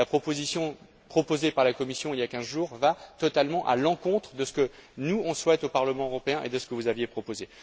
La proposition présentée par la Commission il y a quinze jours va totalement à l'encontre de ce que nous souhaitons au Parlement européen et de ce que vous aviez proposé.